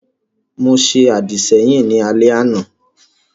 Mo ṣe àdìsẹ́yìn ní alẹ́ àná